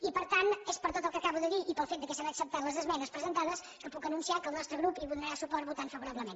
i per tant és per tot el que acabo de dir i pel fet que s’han acceptat les esmenes presentades que puc anun·ciar que el nostre grup hi donarà suport votant favora·blement